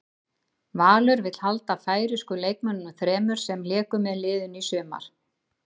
Valur vill halda færeysku leikmönnunum þremur sem léku með liðinu í sumar.